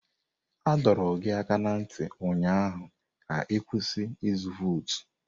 A dọrọ gị aka ná ntị ụnyaahụ ka ị kwụsị ịzụ vootu!